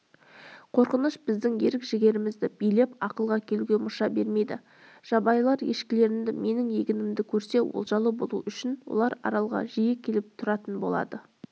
қорқыныш біздің ерік-жігерімізді билеп ақылға келуге мұрша бермейді жабайылар ешкілерімді менің егінімді көрсе олжалы болу үшін олар аралға жиі келіп тұратын болады